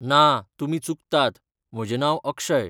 ना, तुमी चुकतात, म्हजें नांव अक्षय.